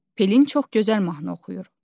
Pelin çox gözəl mahnı oxuyur.